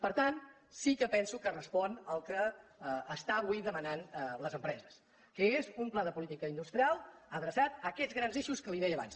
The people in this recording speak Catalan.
per tant sí que penso que respon al que estan avui demanant les empreses que és un pla de política in·dustrial adreçat a aquests grans eixos que li deia abans